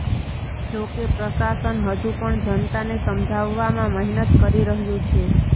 જો કે પ્રશાસન હજુ પણ જનતાને સમજાવવામાં મહેનત કરી રહ્યું છે